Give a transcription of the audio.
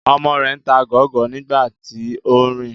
Ọmọ rẹ ń ta gọọgọ nigbati o nrin